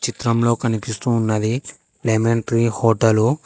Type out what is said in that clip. చిత్రంలో కనిపిస్తూ ఉన్నది లెమన్ ట్రీ హోటల్.